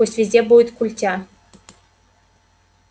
пусть везде будет культя